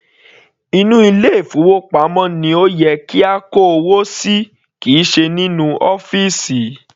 Inú ilé ìfowópamọ́ ni ó yẹ kí a kó owó sí kìí ṣe inú ọ́fìsì.